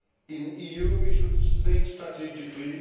past. In the EU we should think strategically.